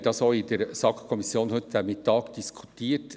Wir haben heute Mittag auch in der SAK darüber diskutiert.